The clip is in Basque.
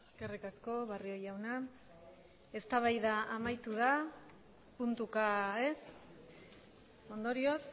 eskerrik asko barrio jauna eztabaida amaitu da puntuka ez ondorioz